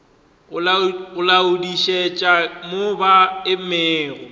go laodišetša mo ba emego